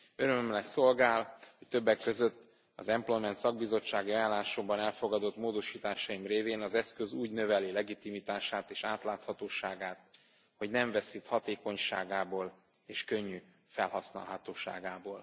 Örömömre szolgál, hogy többek között az employment szakbizottsági ajánlásomban elfogadott módosításaim révén az eszköz úgy növeli legitimitását és átláthatóságát, hogy nem veszít hatékonyságából és könnyű felhasználhatóságából.